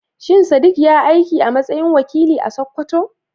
Shin Sadiq ya yi aiki a matsayin wakili a Sakkwato?